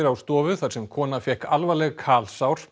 á stofu þar sem kona fékk alvarleg